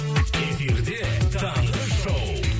эфирде таңғы шоу